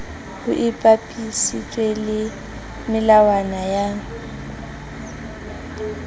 ho ipapisitswe le melawana ya